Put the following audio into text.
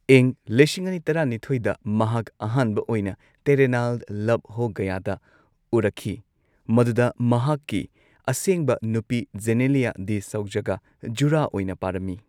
ꯏꯪ ꯂꯤꯁꯤꯡ ꯑꯅꯤ ꯇꯔꯥꯅꯤꯊꯣꯏꯗ, ꯃꯍꯥꯛ ꯑꯍꯥꯟꯕ ꯑꯣꯏꯅ ꯇꯦꯔꯦ ꯅꯥꯜ ꯂꯚ ꯍꯣ ꯒꯌꯥꯗ ꯎꯔꯛꯈꯤ, ꯃꯗꯨꯗ ꯃꯍꯥꯛꯀꯤ ꯑꯁꯦꯡꯕ ꯅꯨꯄꯤ ꯖꯦꯅꯦꯂꯤꯌꯥ ꯗꯤ ꯁꯣꯖꯥꯒ ꯖꯨꯔꯥ ꯑꯣꯏꯅ ꯄꯥꯔꯝꯃꯤ꯫